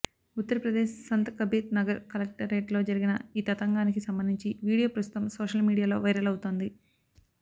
ఉత్తరప్రదేశ్ సంత్ కబీర్ నగర్ కలెక్టరేట్లో జరిగిన ఈ తతంగానికి సంబంధించిన వీడియో ప్రస్తుతం సోషల్ మీడియాలో వైరల్ అవుతోంది